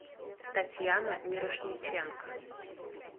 татьяна мирошниченко